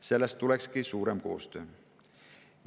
Sellest tulekski suurem koostöö.